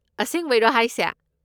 ꯑꯁꯦꯡꯕꯩꯔꯣ ꯍꯥꯏꯁꯦ!?